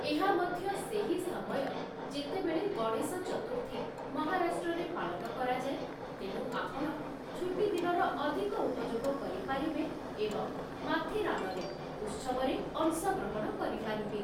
ଏହା ମଧ୍ୟ ସେହି ସମୟ, ଯେତେବେଳେ ଗଣେଶ ଚତୁର୍ଥୀ ମହାରାଷ୍ଟ୍ରରେ ପାଳନ କରାଯାଏ, ତେଣୁ ଆପଣ ଛୁଟିଦିନର ଅଧିକ ଉପଯୋଗ କରିପାରିବେ ଏବଂ ମାଥେରାନରେ ଉତ୍ସବରେ ଅଂଶଗ୍ରହଣ କରିପାରିବେ ।